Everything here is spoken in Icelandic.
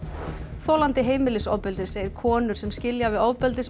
þolandi heimilisofbeldis segir konur sem skilja við ofbeldismenn